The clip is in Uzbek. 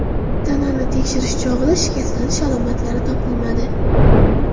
Tanani tekshirish chog‘ida shikastlanish alomatlari topilmadi.